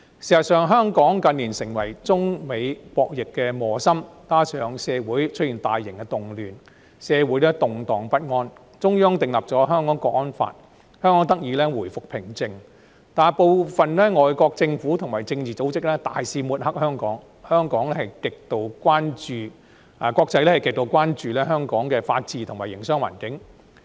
事實上，香港近年成為中美博弈的磨心，加上社會出現大型動亂，動盪不安，中央訂立了《香港國安法》，香港才得以回復平靜，但部分外國政府及政治組織大肆抹黑香港，國際社會極度關注香港的法治及營商環境。